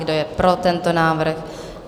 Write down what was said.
Kdo je pro tento návrh?